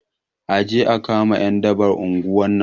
Aje a kama ƴan daban unguwar nan